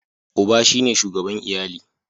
Uba shi ne shugaban iyali.